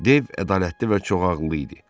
Dev ədalətli və çoxağılı idi.